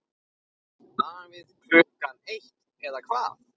Davíð Klukkan eitt eða hvað?